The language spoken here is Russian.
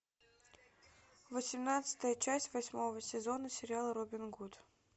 восемнадцатая часть восьмого сезона сериала робин гуд